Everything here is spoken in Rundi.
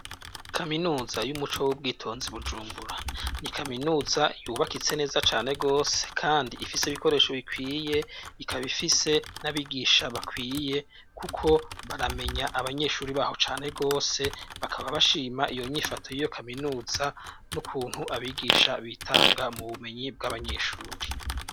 kaminuza y'umuco w'ubwitonzi bujumbura ni kaminuza yubakitse neza cane gose kandi ifise ibikoresho bikwiye ikaba ifise n'abigisha bakwiye kuko baramenya abanyeshuri baho cane gose bakaba bashima iyo nyifoto y'iyo kaminuza n'ukuntu abigisha bitanga mu bumenyi bw'abanyeshuri